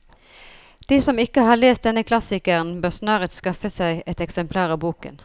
De som ikke har lest denne klassikeren, bør snarest skaffe seg et eksemplar av boken.